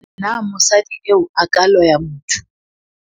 Na mosadi eo a ka loya motho?